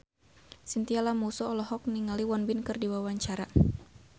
Chintya Lamusu olohok ningali Won Bin keur diwawancara